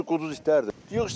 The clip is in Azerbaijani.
Hamısı quduz itlərdir.